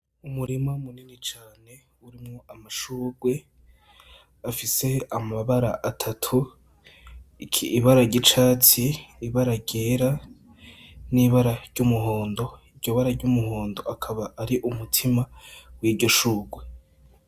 Umurima munini cane urimwo amashugwe afise amabara atatu, ibara ry'icatsi, ibara ryera n'ibara ry'umuhondo. Iryo bara ry'umuhondo akaba ari umutima w'iryo shugwe.